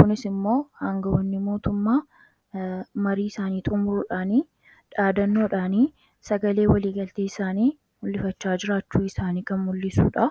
kunis immoo hangawonni mootummaa marii isaanii xumuruudhaan dhaadannoodhaan sagalee walii galtee isaanii mul'ifachaa jiraachuu isaanii kan mul'isuudha.